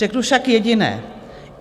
Řeknu však jediné.